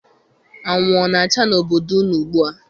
Anwụ ọ na-acha n'obodo unu ugbua?